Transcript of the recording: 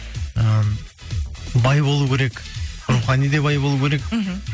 і бай болу керек рухани де бай болу керек мхм